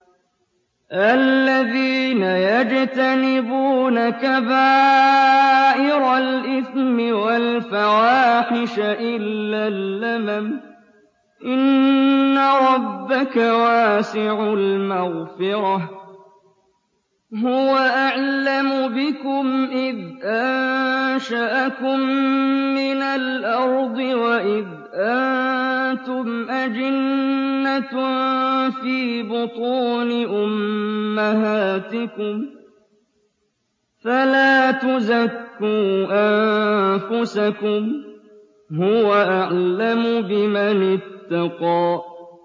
الَّذِينَ يَجْتَنِبُونَ كَبَائِرَ الْإِثْمِ وَالْفَوَاحِشَ إِلَّا اللَّمَمَ ۚ إِنَّ رَبَّكَ وَاسِعُ الْمَغْفِرَةِ ۚ هُوَ أَعْلَمُ بِكُمْ إِذْ أَنشَأَكُم مِّنَ الْأَرْضِ وَإِذْ أَنتُمْ أَجِنَّةٌ فِي بُطُونِ أُمَّهَاتِكُمْ ۖ فَلَا تُزَكُّوا أَنفُسَكُمْ ۖ هُوَ أَعْلَمُ بِمَنِ اتَّقَىٰ